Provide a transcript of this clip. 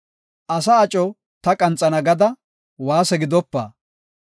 Asa aco ta qanxana gada waase gidopa.